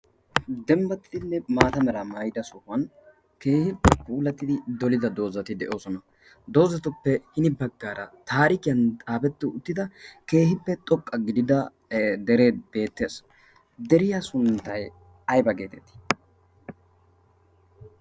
dembbattinne maata meraa maayida sohuwan keehi kuulattidi dolida doozati de7oosona. doozatuppe hini baggaara taarikiyan xaafetti uttida keehippe xoqqa gidida deree beettees. deriya sunttai aiba geetettii?